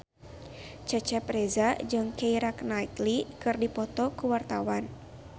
Cecep Reza jeung Keira Knightley keur dipoto ku wartawan